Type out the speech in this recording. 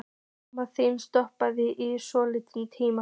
Mamma þín stoppaði í tvo tíma.